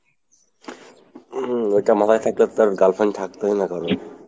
হম ওইটা মাথাই থাকলে তো আর girlfriend থাকতই না কারো।